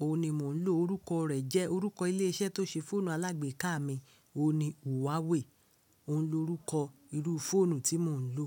O ni mò ń lò. Orúkọ rẹ̀ jẹ́, orúkọ ilé-iṣẹ́ tó ṣe fóònù alágbéka mi, òun ni Huawei. Òun lorúkọ irú fóònù tí mò ń lò.